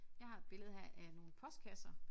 Jeg har et billede her af nogle postkasser